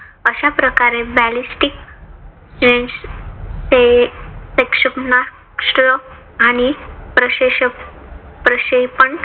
अशाप्रकारे ballistic क्षेपणास्त्र आणि प्रक्षेपण